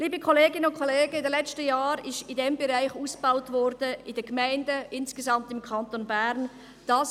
Liebe Kolleginnen und Kollegen, in den letzten Jahren wurde in diesem Bereich in den Gemeinden und insgesamt im Kanton Bern ausgebaut.